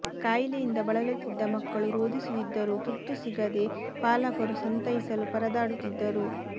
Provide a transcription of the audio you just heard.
ಕಾಯಿಲೆಯಿಂದ ಬಳಲುತ್ತಿದ್ದ ಮಕ್ಕಳು ರೋದಿಸುತ್ತಿದ್ದರೂ ತುರ್ತು ಸಿಗದೆ ಪಾಲಕರು ಸಂತೈಸಲು ಪರದಾಡುತ್ತಿದ್ದರು